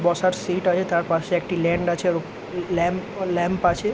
বসার সিট্ আছে তার পাশে একটি ল্যান্ড আছে আরও ল্যাম্প ল্যাম্প আছে।